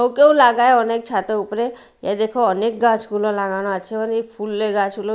ওকেও লাগায় অনেক ছাতে উপরে এ দেখো অনেক গাছগুলো লাগানো আছে অনেক ফুলে গাছগুলো--